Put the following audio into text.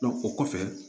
o kɔfɛ